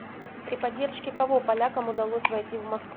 при поддержке кого полякам удалось войти в москву